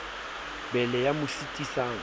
be le ya mo sitisang